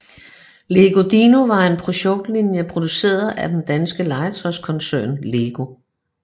Lego Dino var en produktlinje produceret af den danske legetøjskoncern LEGO